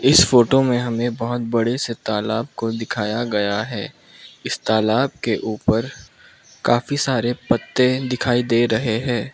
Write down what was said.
इस फोटो में हमें बहोत बड़े से तालाब को दिखाया गया है इस तालाब के ऊपर काफी सारे पत्ते दिखाई दे रहे हैं।